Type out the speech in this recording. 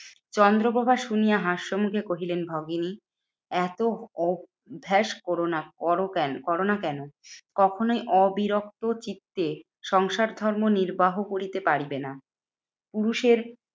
চন্দ্রপ্রভা শুনিয়া হাস্যমুখে কহিলেন, ভগিনী এত অভ্যাস করোনা করো কেন করোনা কেন? কখনোই অবিরোক্ত চিত্তে সংসার ধর্ম নির্বাহ করিতে পারিবে না? পুরুষের